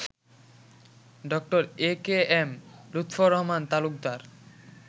ড: A, K, M Lutfar Rahman Talukdar